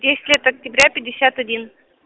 десять лет октября пятьдесят один